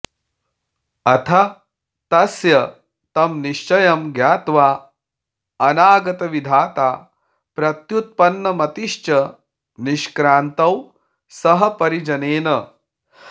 अथ तस्य तं निश्चयं ज्ञात्वाऽनागतविधाता प्रत्युत्पन्नमतिश्च निष्क्रान्तौ सह परिजनेन